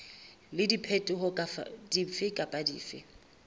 le diphetoho dife kapa dife